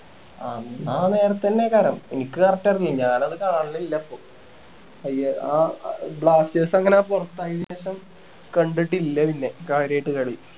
എന്നാ ആ നേരത്തന്നെ കാണാം എനിക്ക് correct അറിയില്ല ഞാൻ അത് കാണലില്ല ഇപ്പൊ പയ്യെ ആ ആഹ് blasters അങ്ങനെ പൊറത്തായെന് ശേഷം കണ്ടിട്ടില്ല പിന്നെ കാര്യായിട്ട് കളി